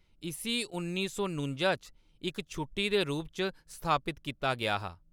इस्सी उन्नी सौ नुंजा च इक छुट्टी दे रूप च स्थापत कीता गेआ हा।